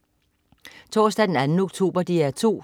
Torsdag den 2. oktober - DR 2: